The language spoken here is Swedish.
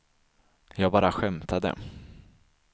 jag bara skämtade